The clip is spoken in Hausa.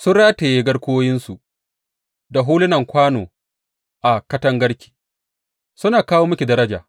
Sun rataye garkuwoyinsu da hulunan kwano a katangarki, suna kawo miki daraja.